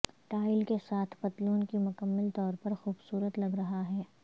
tile کے ساتھ پتلون کی مکمل طور پر خوبصورت لگ رہا ہے